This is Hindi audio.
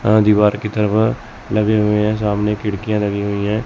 अह दीवार की तरफ लगे हुए हैं सामने खिड़कियां लगी हुई हैं।